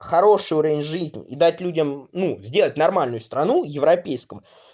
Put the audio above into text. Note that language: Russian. хороший уровень жизни и дать людям ну сделать нормальную страну европейском